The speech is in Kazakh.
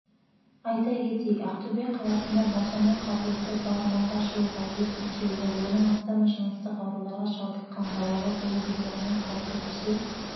айта кетейік ақтөбе қаласында босану қабілеті бар мыңға жуық әйел тіркеулі оның астамы жыныстық ауруларға шалдыққан балалы болу өміріне қауіп төндірсе